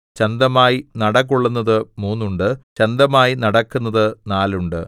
ചന്തമായി നടകൊള്ളുന്നത് മൂന്നുണ്ട് ചന്തമായി നടക്കുന്നത് നാലുണ്ട്